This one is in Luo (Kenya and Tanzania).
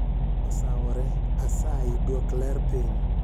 Osawore asayi dwok ler piny